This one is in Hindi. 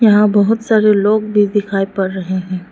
यहां बहुत सारे लोग भी दिखाई पड़ रहे हैं।